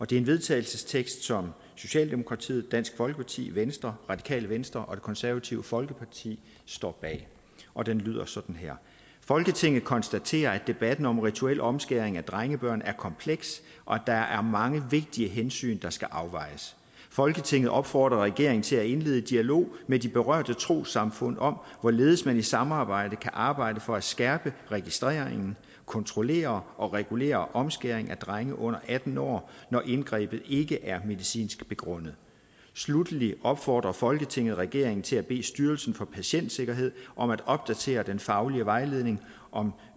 det er en vedtagelsestekst som socialdemokratiet dansk folkeparti venstre radikale venstre og det konservative folkeparti står bag og den lyder sådan her folketinget konstaterer at debatten om rituel omskæring af drengebørn er kompleks og at der er mange vigtige hensyn der skal afvejes folketinget opfordrer regeringen til at indlede dialog med de berørte trossamfund om hvorledes man i samarbejde kan arbejde for at skærpe registreringen kontrollere og regulere omskæring af drenge under atten år når indgrebet ikke er medicinsk begrundet sluttelig opfordrer folketinget regeringen til at bede styrelsen for patientsikkerhed om at opdatere den faglige vejledning om